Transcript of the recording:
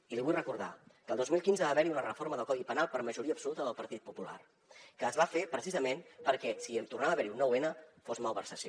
i li vull recordar que el dos mil quinze va haver hi una reforma del codi penal per majoria absoluta del partit popular que es va fer precisament perquè si tornava a haver hi un nou n fos malversació